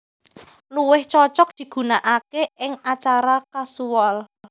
Luwih cocok digunakaké ing acara kasual